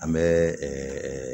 An bɛ